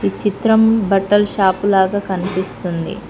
ఈ చిత్రం బట్టలు షాప్ లాగా కనిపిస్తుంది.